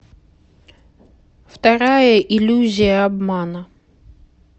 вторая иллюзия обмана